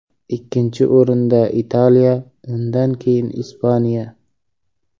Ikkinchi o‘rinda Italiya, undan keyin Ispaniya.